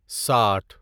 ساٹھ